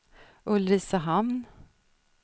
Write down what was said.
Ulricehamn